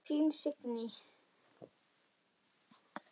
Þín Signý.